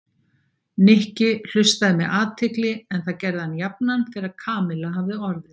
Nikki hlustaði með athygli en það gerði hann jafnan þegar Kamilla hafði orðið.